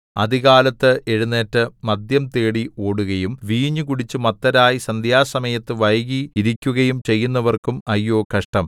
അതികാലത്ത് എഴുന്നേറ്റു മദ്യം തേടി ഓടുകയും വീഞ്ഞു കുടിച്ചു മത്തരായി സന്ധ്യാസമയത്ത് വൈകി ഇരിക്കുകയും ചെയ്യുന്നവർക്കും അയ്യോ കഷ്ടം